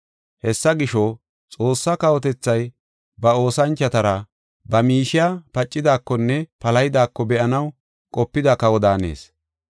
“Hessa gisho, Xoossaa kawotethay ba oosanchotara ba miishey pacidaakonne palahidaako be7anaw qopida kawa daanees.